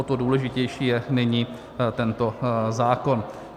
O to důležitější je nyní tento zákon.